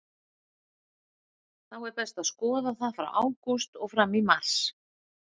Þó er best að skoða það frá ágúst og fram í mars.